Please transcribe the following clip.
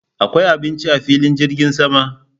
Akwai abinci a filin jirgin sama?